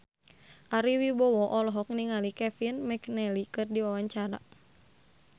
Ari Wibowo olohok ningali Kevin McNally keur diwawancara